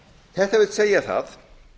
þetta vill segja það